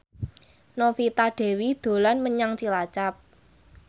Novita Dewi dolan menyang Cilacap